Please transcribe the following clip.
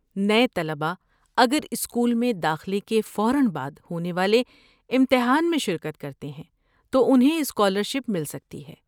نئے طلبہ اگر اسکول میں داخلے کے فوراً بعد ہونے والے امتحان میں شرکت کرتے ہیں تو انہیں اسکالرشپ مل سکتی ہے۔